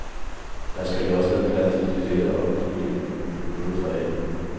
Der skal jo også være plads til det lette og uforpligtende, noget for alle.